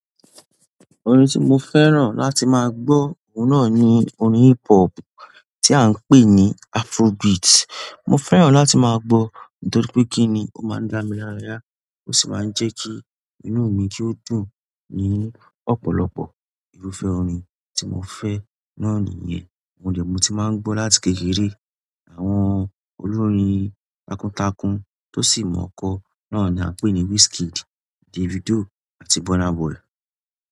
Orin tí mo fẹ́ràn láti máa gbọ́, òun náà ni orin hip hop tí à ń pè ní Afrobeat. Mo fẹ́ràn láti máa gbọ́ nítorí pé kíni ó máa ń dá mi láraya, ó sì máa ń jẹ́ kí inú mi kí ó dùn. Ní ọ̀pọ̀lọpọ̀ irúfẹ́ orin tí mo fẹ́ náà nìyẹn. Oun de ni mo ti maa n gbo láti kékeré. Àwọn olórin takuntakun tó sì mọ̀ kọ́ náà ni à ń pè ní Wizkid, Davido àti Burna Boy.